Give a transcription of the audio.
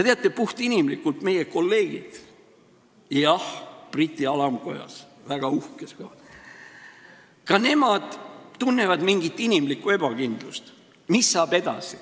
Teate, puhtinimlikult meie kolleegid – jah, Briti alamkojas, väga uhkes kohas – tunnevad ka mingit inimlikku ebakindlust, et mis saab edasi.